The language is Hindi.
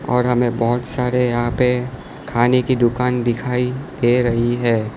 और हमें बहुत सारे यहां पे खाने की दुकान दिखाई दे रही है।